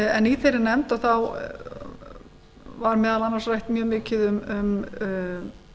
en í þeirri nefnd var meðal annars rætt mjög mikið um